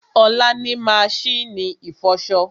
Olá ni maṣínì ìfọṣọ